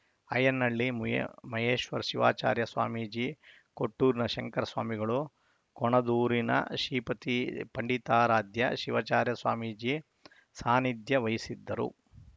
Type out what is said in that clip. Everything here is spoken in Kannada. ಅಯ್ಯನಹಳ್ಳಿ ಮಹೇಶ್ವರ ಶಿವಾಚಾರ್ಯ ಸ್ವಾಮೀಜಿ ಕೊಟ್ಟೂರಿನ ಶಂಕರ ಸ್ವಾಮಿಗಳು ಕೊಣದೂರಿನ ಶ್ರೀಪತಿ ಪಂಡಿತಾರಾಧ್ಯ ಶಿವಾಚಾರ್ಯ ಸ್ವಾಮೀಜಿ ಸಾನಿಧ್ಯ ವಹಿಸಿದ್ದರು